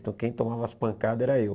Então quem tomava as pancadas era eu.